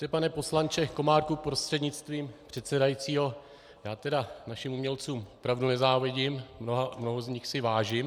Víte, pane poslanče Komárku prostřednictvím předsedajícího, já tedy našim umělcům opravdu nezávidím, mnoha z nich si vážím.